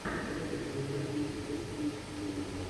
посоветуй мне красивый фильмец в стилистике криминала